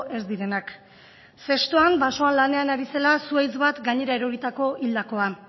ez direnak zestoan basoan lanean ari zela zuhaitz bat gainera eroritako hildakoa